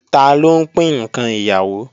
Taló ń pín ǹkan ìyàwó